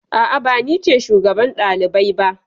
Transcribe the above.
A'a, ba ni ce shugaban ɗalibai ba.